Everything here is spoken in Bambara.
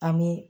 An bɛ